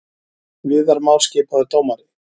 Viðar Már skipaður dómari